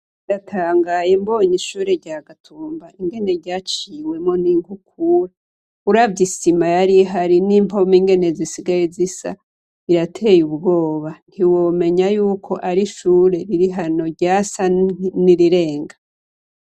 Ndatangaye mbonye ishure rya Gatumba ingene ryaciwemwo n'inkukura. Uravye isima yari hari n'impome ngene zisigaye zisa birateye ubwoba ; ntiwomenya yuko ari ishure riri hano ryasa n'irirenga.